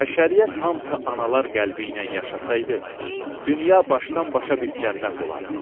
Bəşəriyyət hamısı analar qəlbi ilə yaşasaydı, dünya başdan-başa bir cənnət olardı.